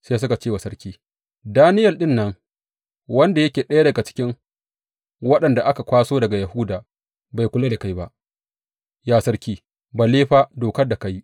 Sai suka ce wa sarki, Daniyel ɗin nan, wanda yake ɗaya daga cikin waɗanda aka kwaso daga Yahuda, bai kula da kai ba, ya sarki, balle fa dokar da ka yi.